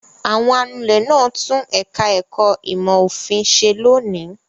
Àwọn anulẹ̀ náà tún ẹ̀ka-ẹ̀kọ́ ìmọ̀-òfin ṣe lónìí.